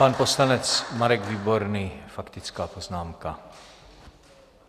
Pan poslanec Marek Výborný, faktická poznámka.